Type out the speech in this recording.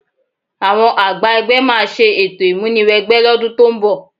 Àwọn àgbà ẹgbẹ́ máa ṣe ètò ìmúni wẹgbẹ́ lọ́dún tó ń bọ̀